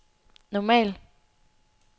normal